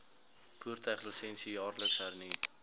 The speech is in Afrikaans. voertuiglisensie jaarliks hernu